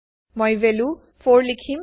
মই ভেলু 4 লিখিম